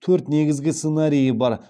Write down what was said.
төрт негізгі сценарийі бар